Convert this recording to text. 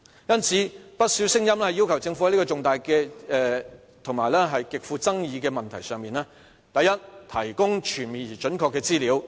因此，不少聲音要求政府在這個重大及極富爭議的問題上，第一，提供全面而準確的資料。